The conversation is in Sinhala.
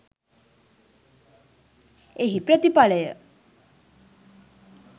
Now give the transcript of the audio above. එහි ප්‍රතිඵලය